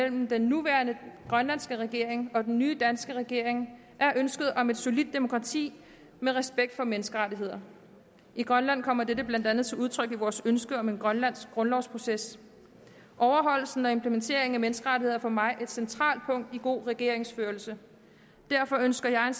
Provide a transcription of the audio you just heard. den nuværende grønlandske regering og den nye danske regering er ønsket om et solidt demokrati med respekt for menneskerettigheder i grønland kommer dette blandt andet til udtryk i vores ønske om en grønlandsk grundlovsproces overholdelsen og implementeringen af menneskerettigheder er for mig et centralt punkt i god regeringsførelse derfor ønsker jeg